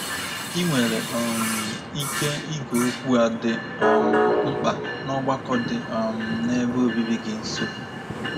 Ị nwere um ike ige okwu a dị um mkpa ná ọgbakọ dị um n’ebe obibi gị nso.